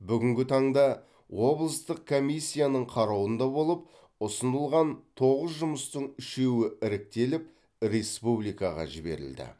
бүгінгі таңда облыстық комиссияның қарауында болып ұсынылған тоғыз жұмыстың үшеуі іріктеліп республикаға жіберілді